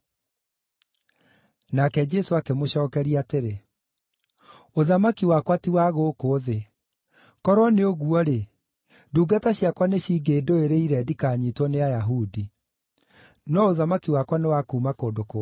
Nake Jesũ akĩmũcookeria atĩrĩ, “Ũthamaki wakwa ti wa gũkũ thĩ. Korwo nĩ ũguo-rĩ, ndungata ciakwa nicingĩndũĩrĩire ndikanyiitwo nĩ Ayahudi. No ũthamaki wakwa nĩ wa kuuma kũndũ kũngĩ.”